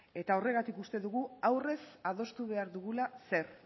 eta horregatik uste dugu